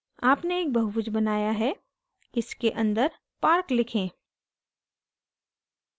आपने एक बहुभुज बनाया है इसे अंदर park लिखें